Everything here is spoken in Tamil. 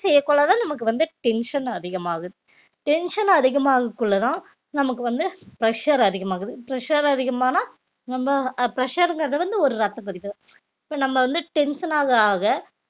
செய்யக் கொள்ளதான் நமக்கு வந்து tension அதிகமாகுது tension அதிகமாகறதுக்குள்ளதான் நமக்கு வந்து pressure அதிகமாகுது pressure அதிகமானா நம்ம அஹ் pressure ங்கறது வந்து ஒரு ரத்தப் இப்ப நம்ம வந்து tension ஆக ஆக